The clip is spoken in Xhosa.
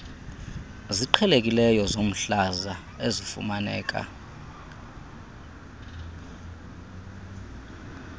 ziqhelekileyo zomhlaza ezifumaneka